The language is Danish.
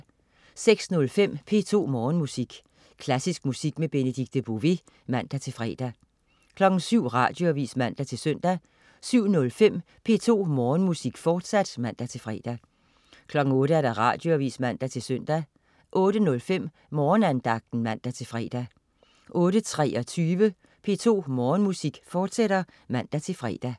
06.05 P2 Morgenmusik. Klassisk musik med Benedikte Bové (man-fre) 07.00 Radioavis (man-søn) 07.05 P2 Morgenmusik, fortsat (man-fre) 08.00 Radioavis (man-søn) 08.05 Morgenandagten (man-fre) 08.23 P2 Morgenmusik, fortsat (man-fre)